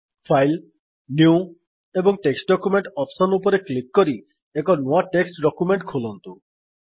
file new ଏବଂ text document option ଉପରେ click କରି ଏକ ନୂଆ ଟେକ୍ସଟ୍ ଡକ୍ୟୁମେଣ୍ଟ୍ ଖୋଲନ୍ତୁ